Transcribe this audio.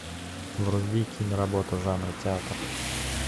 вруби киноработу жанра театр